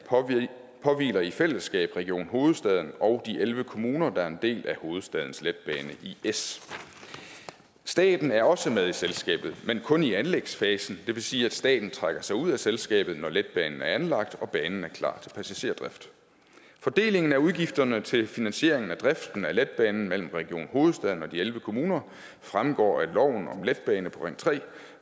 påhviler i fællesskab region hovedstaden og de elleve kommuner der er en del af hovedstadens letbane is staten er også med i selskabet men kun i anlægsfasen det vil sige at staten trækker sig ud af selskabet når letbanen er anlagt og banen er klar til passagerdrift fordelingen af udgifterne til finansieringen af driften af letbanen mellem region hovedstaden og de elleve kommuner fremgår af lov om letbane på ring tre